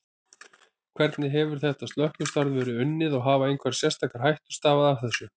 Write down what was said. Hvernig hefur þetta slökkvistarf verið unnið og hafa einhverjar sérstakar hættur stafað af þessu?